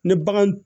Ni bagan